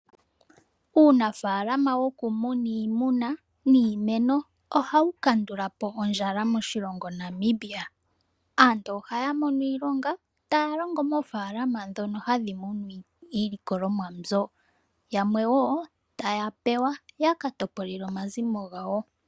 Uunafaalama wokumuna iimuna niimeno , ohau kandulapo ondjala moshilongo Namibia . Aantu ohaya mono iilonga , taya longo moofaalama ndhono hadhi munu iilikolomwa mbyoka Yamwe wo taya pewa yaka topolele omazimo gawo.